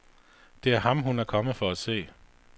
Det er ham, hun er kommet for at se.